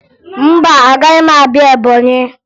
Mba, agaghị m abịa Ebọnyị